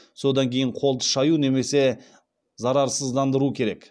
содан кейін қолды шаю немесе зарарсыздандыру керек